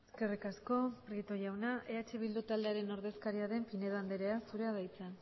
eskerrik asko prieto jauna eh bildu taldearen ordezkaria den pinedo andrea zurea da hitza